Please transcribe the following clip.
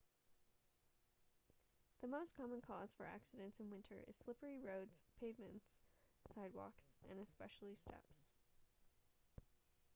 the most common cause for accidents in winter is slippery roads pavements sidewalks and especially steps